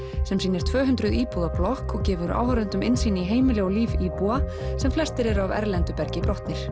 sem sýnir tvö hundruð íbúða blokk og gefur áhorfendum innsýn í heimili og líf íbúa sem flestir eru af erlendu bergi brotnir